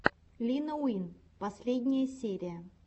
лина уин последняя серия